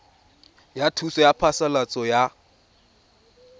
ya thuso ya phasalatso ya